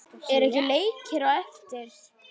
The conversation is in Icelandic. Eru ekki leikir á eftir?